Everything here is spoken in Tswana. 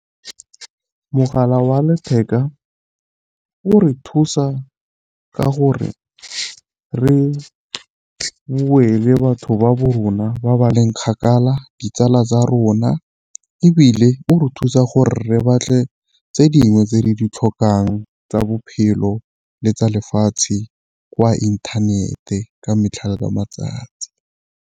Mogala wa letheka o re thusa ka gore re bue le batho ba ba rona ba ba leng kgakala, ditsala tsa a rona ebile o re thusa gore re batle tse dingwe tse di ditlhokang tsa bophelo le tsa lefatshe kwa inthanete ka metlha le ka matsatsi.